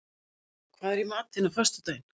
Jóa, hvað er í matinn á föstudaginn?